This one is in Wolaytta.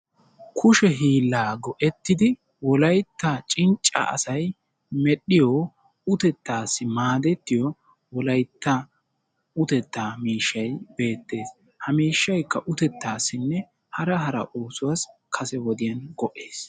Kushe hiilaa go"ettidi Wolaytta cincca asay medhdhiyo, uttettassi maaddetiyo Wolayttaa uttetta miishshay beettees. Ha miishshaykka uttetassinne hara hara oosuwassi kase wodiyaan go"essi.